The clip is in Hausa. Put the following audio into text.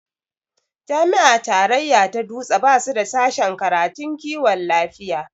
Jami'a tarayya ta dutse basu da sashen karatun kiwon lafiya